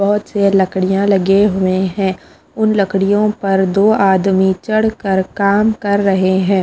बहुत से लकड़ियाँ लगे हुए हैं उन लकड़ियों पर दो आदमी चढ़ कर काम कर रहे हैं।